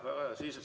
Väga hea!